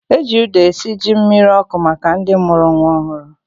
Eji ụda esi ji mmiri ọkụ maka ndị mụrụ nwa ọhụrụ